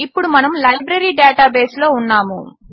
ఇప్పుడు మనము లైబ్రరీ డేటాబేస్లో ఉన్నాము